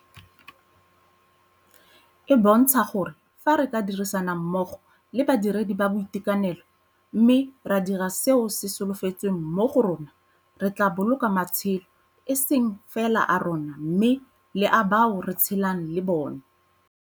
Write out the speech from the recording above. E bontsha gore fa re ka dirisana mmogo le badiredi ba boitekanelo mme ra dira seo se solofetsweng mo go rona, re tla boloka matshelo e seng fela a rona mme le a bao re tshelang le bona.